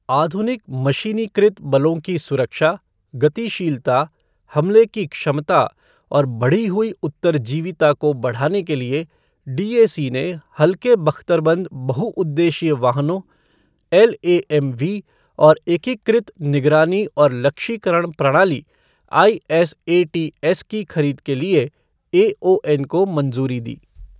आधुनिक मशीनीकृत बलों की सुरक्षा, गतिशीलता, हमले की क्षमता और बढ़ी हुई उत्तरजीविता को बढ़ाने के लिए, डीएसी ने हल्के बख्तरबंद बहुउद्देश्यीय वाहनों, एलएएमवी और एकीकृत निगरानी और लक्ष्यीकरण प्रणाली आईएसएटीएस की खरीद के लिए एओएन को मंजूरी दी।